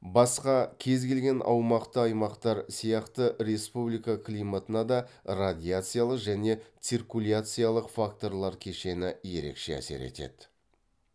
басқа кез келген аумақты аймақтар сияқты республика климатына да радиациялық және циркуляциялық факторлар кешені ерекше әсер етеді